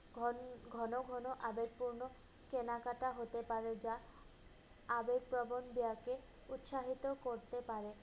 ঘন~ ঘন ঘন আদায়পূর্ণ কেনাকাটা হতে পারে, যা আদবপ্রবন ব্যয়কে উৎসাহিত করতে পারে।